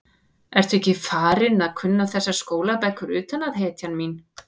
Ertu ekki farin að kunna þessar skólabækur utan að, hetjan mín?